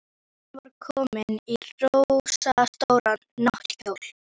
Og sólin skein og þurrkaði heyið.